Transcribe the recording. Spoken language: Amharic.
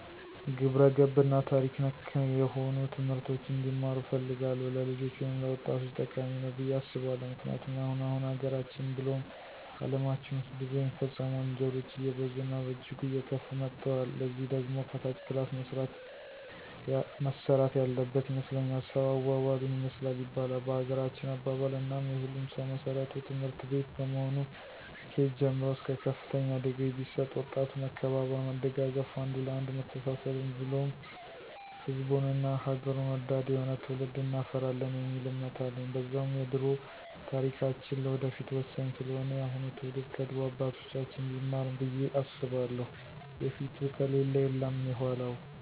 ግብረገብ እና ታሪክ ነክ ነሆኑ ትምህርቶችን እንዲማሩ እፈልጋለሁ። ለልጆች ወይም ለወጣቶቸ ጠቃሚ ነዉ ብየ አስባለሁ። ምክንያቱም አሁን አሁን ሀገራችን ብሉም አለማችን ዉስጥ ብዙ የሚፈጸሙ ወንጀሎች አየበዙ እና በእጅጉ አየከፉ መተወል። ለዚህ ደግሞ ከታች ክላስ መሰራት ያለበን ይመስለኛል። ሰዉ አዋዋሉን ይመስላል ይባላል በሀገራችን አባባል፦ እናም የሁሉም ሰዉ መሰረቱ ትምህርትቤት በመሆኑ ከኬጅ ጀምሮ እስከ ከፍተኛ ድግሪ ቢሰጥ ወጣቱ መከባበር፣ መደጋገፍ፣ አንዱ ለአንዱ መተሳሰብን ብሉም ሕዝቡን እና ሐገሩን ወዳድ የሆነ ትዉልድ እናፈራለን የሚል እምነት አለኝ። በዛዉም የደሮ ታሪካችን ለወደፊቱ ወሳኝ ስለሆነ የአሁኑ ትዉልድ ከድሮ አባቶቻችን ቢማር ብየ አስባለሁ የፊቱ ከሌለ የለም የዃላዉ።